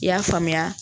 I y'a faamuya